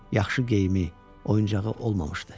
Yaxşı geyimi, oyuncağı olmamışdı.